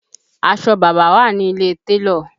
Aṣọ bàbá wà ní ilé télọ̀